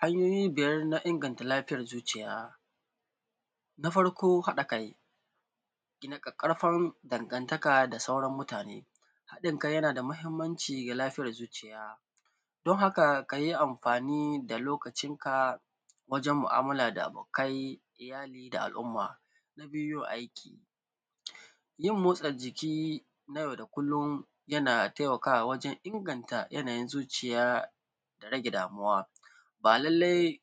Hanyoyin iŋganta lafiyar zuciya na farko: haɗa kai gina tsatsauran daŋantaka da mutane. haɗin kai yana da mahimmanci ga lafiyyar zuciya, don haka, ka yi amfani da lucinka wajen mu’amala da abokanai, iyali, da al’umma. na biyu: aiki. yin motsa jiki na yau da kullum yana taimakawa wajen iŋganta yanayin zuciya, da rage damuwa. ba lallai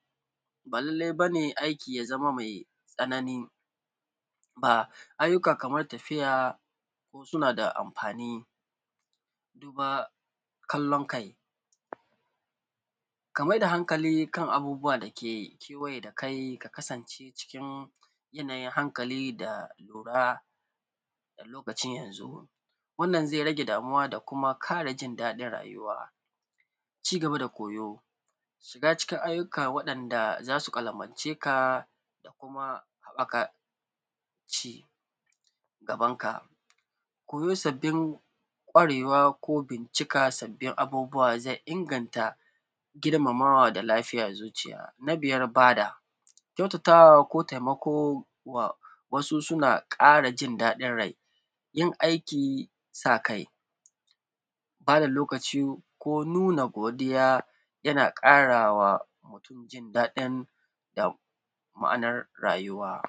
bane aiki ya zama mai tsanani ayyuka kaman tafiya, su sauna, da amfani da kallon kai. ka mai da haŋkali kan abubbuwa da ke kewaye da kai, ka kasance cikin yanayin haŋkali da lura da luci na yanzu. wannan ze rage damuwa, da kuma kare jin daɗin rayyuwa. cigaba da koyo: shiga cikin ayyuka waɗanda za su kwalamanceka da kuma haɓaka cigabanka. koyo sabbin kawarewa ko bincika sabbin abubbuwa ze iŋganta girma muwa da lafiya da zuciya. na biyar: ba da kyauta, ga tawa, ko taimako wa wasu. suna ƙara jin daɗin rai, yin aiki sa kai, tsara lokaci, ko nuna godiya, yana ƙarawa mutum jin daɗin ma’anar rayyuwa.